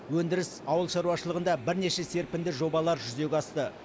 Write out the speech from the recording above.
өндіріс ауыл шаруашылығында бірнеше серпінді жобалар жүзеге асты